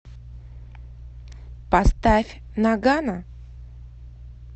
поставь ноггано